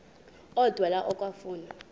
odwa la okafuna